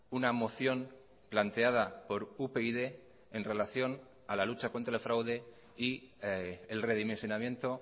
una moción planteada por upyd en relación a la lucha contra el fraude y el redimensionamiento